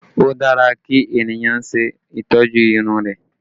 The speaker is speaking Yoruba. O dára kí ènìyàn ṣe ìtọ́jú irun rẹ